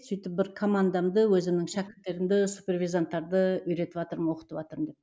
сөйтіп бір командамды өзімнің шәкірттерімді супервизанттарды үйретіватырмын оқытыватырмын деп